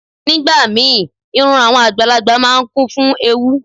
Nígbà míì, irun àwọn àgbàlagbà máa ń kún fún ewúú.